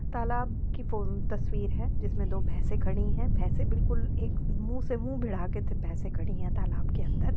तालाब की फ़ो-तस्वीर है जिसमें दो भैसे खड़ी है भैसे बिल्कुल एक मुंह से मुंह भिड़ा के खड़ी है तालाब के अन्दर।